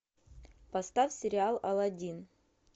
поставь сериал аладдин